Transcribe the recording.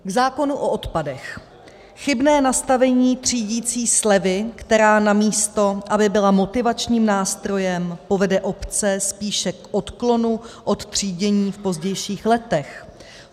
V zákonu o odpadech chybné nastavení třídicí slevy, která místo aby byla motivačním nástrojem, povede obce spíše k odklonu od třídění v pozdějších letech.